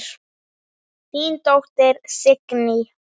Þín dóttir, Signý.